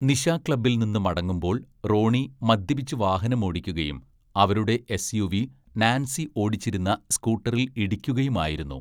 "നിശാക്ലബ്ബിൽ നിന്ന് മടങ്ങുമ്പോൾ, റോണി മദ്യപിച്ച് വാഹനമോടിക്കുകയും അവരുടെ എസ്‌യുവി നാൻസി ഓടിച്ചിരുന്ന സ്‌കൂട്ടറിൽ ഇടിക്കുകയുമായിരുന്നു. "